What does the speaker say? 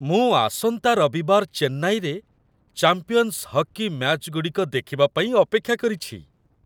ମୁଁ ଆସନ୍ତା ରବିବାର ଚେନ୍ନାଇରେ 'ଚାମ୍ପିଅନ୍ସ ହକି' ମ୍ୟାଚଗୁଡ଼ିକ ଦେଖିବା ପାଇଁ ଅପେକ୍ଷା କରିଛି।